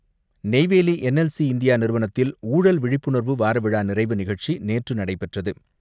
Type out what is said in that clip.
Neyveli NLC India நிறுவனத்தில் ஊழல் விழிப்புணர்வு வாரவிழா நிறைவு நிகழ்ச்சி நேற்று நடைபெற்றது.